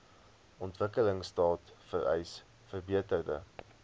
ontwikkelingstaat vereis verbeterde